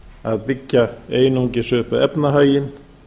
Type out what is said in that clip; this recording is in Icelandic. að byggja einungis upp efnahaginn